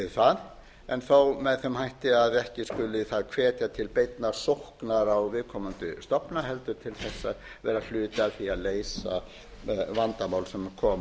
það en þó með þeim hætti að ekki skuli það hvetja til beinnar sóknar á viðkomandi stofna heldur til þess að vera hluti af því að leysa vandamál sem koma